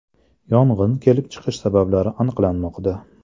Yong‘in kelib chiqish sabablari aniqlanmoqda.